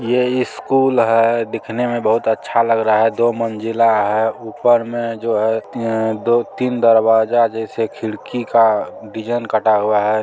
ये स्कूल है दिखने में बहुत अच्छा लग रहा है दो महिला है ऊपर में जो है दो-तीन दरवाजा जैसा एक खिड़की का डिजाइन कटा हुआ है ।